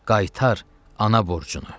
Qaytar ana borcunu.